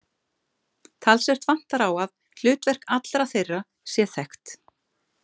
Talsvert vantar á að hlutverk allra þeirra sé þekkt.